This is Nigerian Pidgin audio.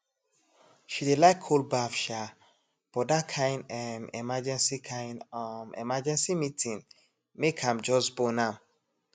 she dey like cold baff um but that kain um emergency kain um emergency meeting make am just bone am